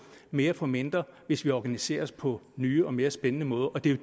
mere for mindre hvis vi organiserer os på nye og mere spændende måder og det er